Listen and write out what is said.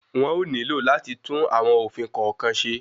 Wọn ó nílò láti tún àwọn òfin kọ̀ọ̀kan ṣe.